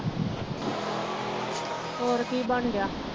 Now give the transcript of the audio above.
ਹੋਰ ਕੀ ਬਣਦਾ।